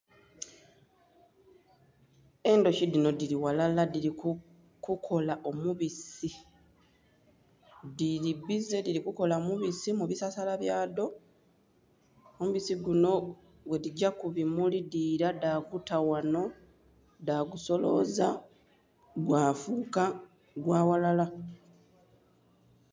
Endhuki dhinho dhili ghalala dhili kukola omubisi dhili bize dhili kukola mubisi mubisasala byadho omubisi gunho bwedhigya kubumuli dhila dhaguta ghanho dhagusoloza gwafuka gwaghalala.